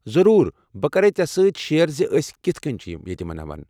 ضروٗر! بہٕ کرٕ ژےٚ سۭتۍ شیر زِ ٲسۍ کِتھہٕ کٔنۍ چھِ یہِ یتہِ مناوان۔